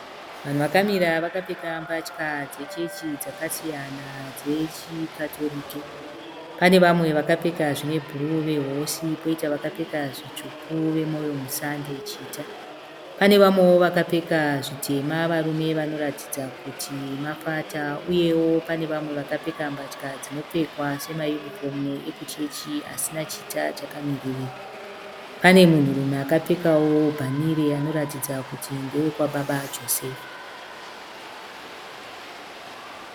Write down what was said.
Vanhu vakamira vakapfeka mbatya dzechechi dzakasiyana dzechiKatorike. Pane vamwe vakapfeka zvine bhuruu veHosi, poita vakapfeka zvitsvuku veMoyo Musande, chita. Pane vamwewo vakapfeka zvitema, varume vanoratidza kuti mafata. Uyewo pane vamwe vakapfeka mbatya dzinopfekwa semayunifomu ekuchechi asina chita chakamiririra. Pane munhurume akapfekawo bhanire anoratidza kuti ndewe kwababa Josefa.